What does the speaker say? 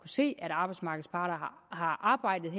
se at arbejdsmarkedets parter har arbejdet